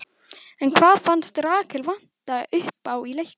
En hvað fannst Rakel vanta uppá í leiknum?